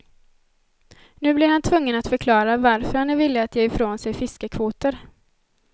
Nu blir han tvungen att förklara varför han är villig att ge ifrån sig fiskekvoter.